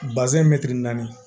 naani